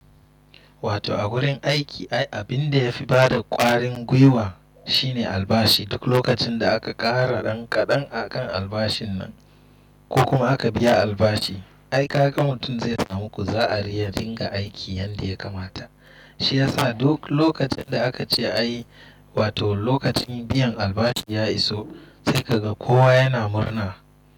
Wato a wurin aiki ai abinda ya fi bada kwarin guiwa shine albashi. Duk lokacin da aka kara ɗan kaɗan akan albashin nan ko kuma aka biya albashi, ai kaga mutum zai samu ku za a riya dinga aiki yadda ya kamata. Shi yasa duk lokacin da aka ce a yi, wato lokacin biyan albashi ya iso sai ka ga kowa yana murna.